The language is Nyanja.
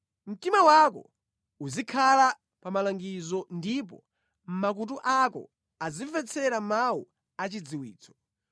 Mtima wako uzikhala pa malangizo ndipo makutu ako azimvetsera mawu a chidziwitso.